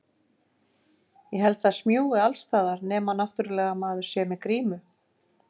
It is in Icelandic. Ég held það smjúgi alls staðar, nema náttúrlega maður sé með grímu.